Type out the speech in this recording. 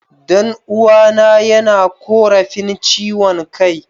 Dan'uwana yana korafin chiwon Kai.